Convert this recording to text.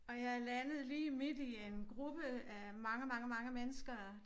Og jeg landede lige midt i en gruppe af mange mange mange mennesker